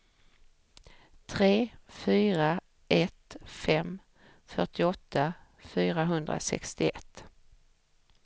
tre fyra ett fem fyrtioåtta fyrahundrasextioett